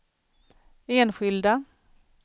enskilda